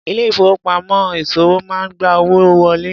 Ilé ìfowópamọ́ ìṣòwò máa ń gba owó wọlé.